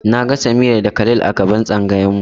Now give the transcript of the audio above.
Na ga Samira da Khalil a gaban tsangayar mu.